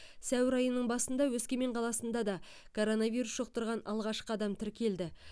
сәуір айының басында өскемен қаласында да коронавирус жұқтырған алғашқы адам тіркелді